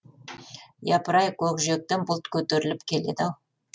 япыр ай көкжиектен бұлт көтеріліп келеді ау